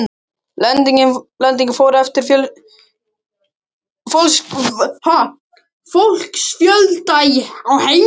Lengdin fór eftir fólksfjölda á heimilunum.